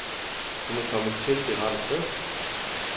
Hun er kommet til det rette sted.